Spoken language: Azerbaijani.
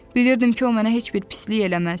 Bilirdim ki, o mənə heç bir pislik eləməz.